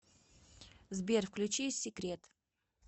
сбер включи секрет